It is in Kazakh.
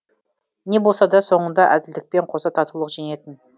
не болса да соңында әділдікпен қоса татулық жеңетін